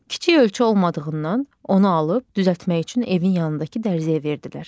Kiçik ölçü olmadığından onu alıb düzəltmək üçün evin yanındakı dərzəyə verdilər.